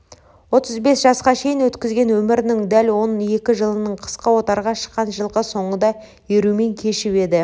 отыз бес жасқа шейін өткізген өмірінің дәл он екі жылын қысқы отарға шыққан жылқы соңына ерумен кешіп еді